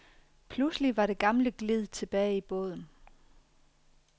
Pludselig var det gamle glid tilbage i båden.